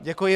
Děkuji.